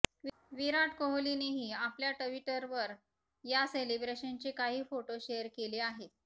विराट कोहलीनेही आपल्या ट्विटरवर या सेलेब्रेशनचे काही फोटो शेअर केले आहेत